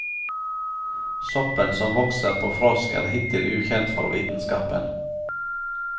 Soppen som vokser på frosk er hittil ukjent for vitenskapen.